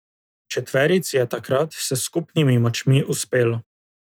Četverici je takrat s skupnimi močmi uspelo.